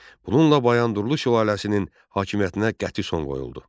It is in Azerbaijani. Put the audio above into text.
Bununla Bayandurlu sülaləsinin hakimiyyətinə qəti son qoyuldu.